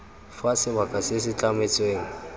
fa sebaka se se tlametsweng